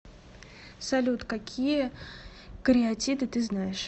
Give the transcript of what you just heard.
салют какие кариатиды ты знаешь